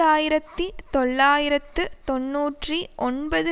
ஆயிரத்தி தொள்ளாயிரத்து தொன்னூற்றி ஒன்பது